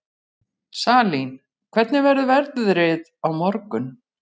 Salín, hvernig verður veðrið á morgun?